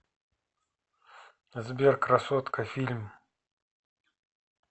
сбер красотка фильм